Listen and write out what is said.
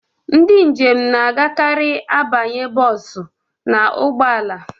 Ndị njem na-agakarị abanye bọsụ n'ụgbọ ala.